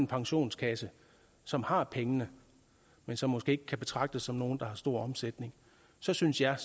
pensionskasse som har pengene men som måske ikke kan betragtes som nogle der har stor omsætning så synes jeg